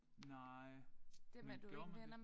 Nej men gjorde man det?